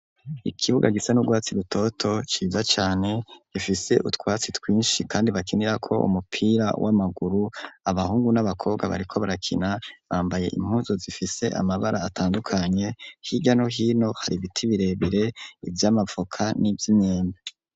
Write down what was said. Ikibuga gisa n'urwatsi rutoto ciza cane, gifise utwatsi twinshi kandi bakinirako umupira w'amaguru, abahungu n'abakobwa bariko barakina, bambaye impuzu zifise amabara atandukanye, hirya no hino hari ibiti birebire ivy'amavoka n'ivy'imyembe.